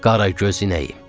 Qaragöz inəyim.